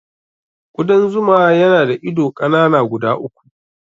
Ƙudan zuma yana da ido ƙanana guda uku.